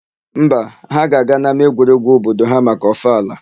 Mba, ha ga-aga n'ama egwuregwu obodo ha maka ọfala.